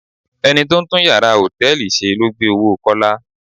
Ẹni tó ń tún yàrá hòtẹ́ẹ̀lì ṣe ló gbé owó Kọ́lá.